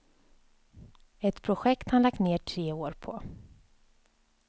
Ett projekt han lagt ner tre år på.